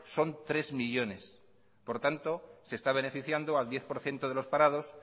son tres millónes por tanto se está beneficiando al diez por ciento de los parados